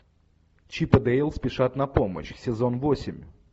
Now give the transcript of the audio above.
чип и дейл спешат на помощь сезон восемь